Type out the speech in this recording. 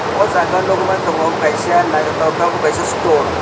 ahh jaaga nug man tongo omo kaisa nythoktoke ke omo kaisa store.